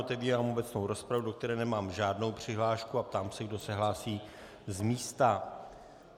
Otevírám obecnou rozpravu, do které nemám žádnou přihlášku, a ptám se, kdo se hlásí z místa.